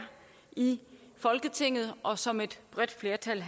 i folketinget og som et bredt flertal